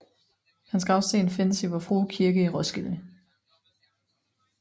Hans gravsten findes i Vor Frue Kirke i Roskilde